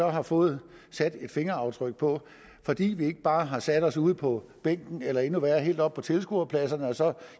har fået sat et fingeraftryk på fordi vi ikke bare har sat os ude på bænken eller endnu værre helt oppe på tilskuerpladserne og så